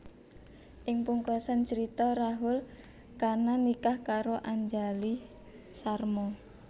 Ing pungkasan carita Rahul Khanna nikah karo Anjali Sharma